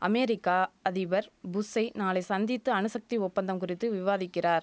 America அதிபர் புஷ்ஷை நாளை சந்தித்து அணுசக்தி ஒப்பந்தம் குறித்து விவாதிக்கிறார்